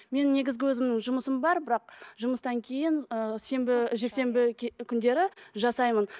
мен негізгі өзімнің жұмысым бар бірақ жұмыстан кейін ыыы сенбі жексенбі күндері жасаймын